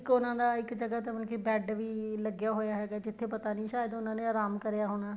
ਇੱਕ ਉਹਨਾ ਦਾ ਇੱਕ ਜਗਾਂ ਤੇ ਮਤਲਬ ਕੀ ਬੈਡ ਵੀ ਲੱਗਿਆ ਹੋਇਆ ਹੈ ਹੈਗਾ ਜਿੱਥੇ ਪਤਾ ਨਹੀਂ ਸਾਇਦ ਉਹਨਾ ਨੇ ਆਰਾਮ ਕਰਿਆ ਹੋਣਾ